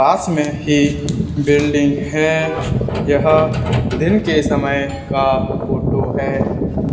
पास में ही बिल्डिंग है यह दिन के समय का फोटो है।